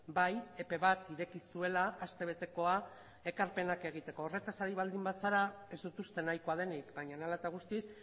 bai epe bat ireki zuela aste betekoa ekarpenak egiteko horretaz ari baldin bazara ez dut uste nahikoa denik baina hala eta guztiz